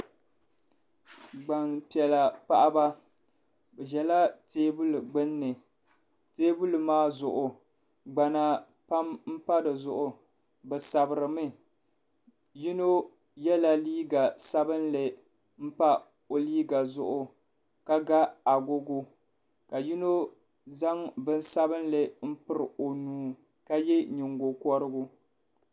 Gbaŋpiɛlla paɣaba bi ʒɛla teebuli gbunni teebuli maa zuɣu gbana pam n pa di zuɣu bi sabiri mi yino yɛla liiga sabinli n pa o liiga zuɣu ka ga agogo ka yino zaŋ bin sabinli n piri o nuu ka yɛ nyingokɔrigu.